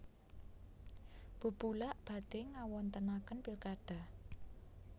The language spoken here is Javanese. Bubulak badhe ngawontenaken pilkada